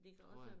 Tror jeg